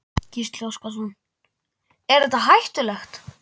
Gísli Óskarsson: Er þetta er hættulegt?